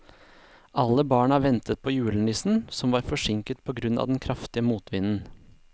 Alle barna ventet på julenissen, som var forsinket på grunn av den kraftige motvinden.